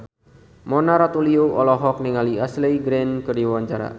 Mona Ratuliu olohok ningali Ashley Greene keur diwawancara